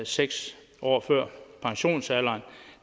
seks år før pensionsalderen